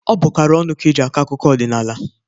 Ọ bụkarị ọnụ ka e ji akụ akụkọ odịnaala.